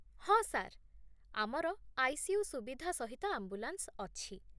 ହଁ ସାର୍, ଆମର ଆଇ.ସି.ୟୁ. ସୁବିଧା ସହିତ ଆମ୍ବୁଲାନ୍ସ ଅଛି।